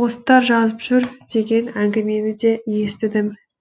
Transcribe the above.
посттар жазып жүр деген әңгімені де естідім